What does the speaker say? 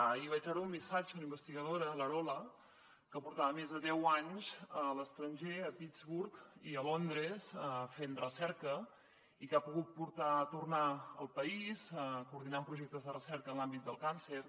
ahir vaig veure un missatge d’una investigadora l’arola que portava més de deu anys a l’es·tranger a pittsburgh i a londres fent recerca i que ha pogut tornar al país coordi·nant projectes de recerca en l’àmbit del càncer